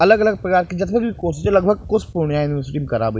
अलग-अलग प्रकार के जते भी कोर्स होय छै लगभग कोर्स पूर्णिया यूनिवर्सिटी में --